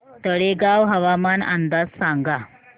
तळेगाव हवामान अंदाज सांगा